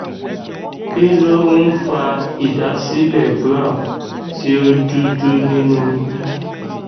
kí ló ń ń fa ìdásílẹ brown ti o dúdú nínú oyún